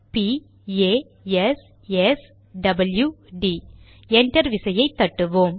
பிP A S S W டிD enter விசையை தட்டுவோம்